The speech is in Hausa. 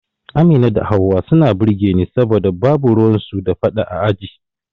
Amina da Hauwa suna burge ni saboda babu ruwan su da fada a aji